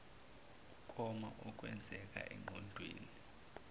ukoma okwenzeka engqondweni